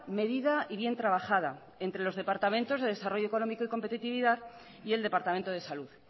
medida y bien trabajada entre los departamentos de desarrollo económico y competitividad y el departamento de salud